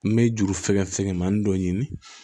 N bɛ juru fɛngɛ fɛngɛ manin dɔ ɲini